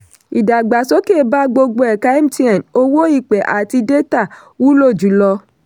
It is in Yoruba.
ìdàgbàsókè bá gbogbo ẹ̀ka mtn owó ìpè àti détà wúlò jùlọ.